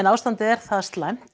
ástandið er það slæmt